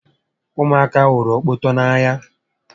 Ụmụ aka hụrụ okpoto n'anya